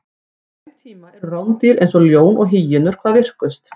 á þeim tíma eru rándýr eins og ljón og hýenur hvað virkust